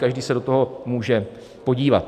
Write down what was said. Každý se do toho může podívat.